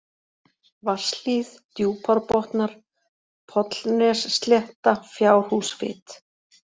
Vatnshlíð, Djúpárbotnar, Pollnesslétta, Fjárhúsfit